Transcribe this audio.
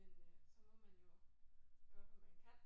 Men øh så må man jo gøre hvad man kan